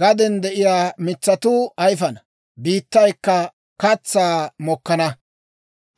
Gaden de'iyaa mitsatuu ayifana; biittaykka katsaa mokkana.